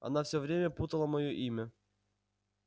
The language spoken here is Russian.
она всё время путала моё имя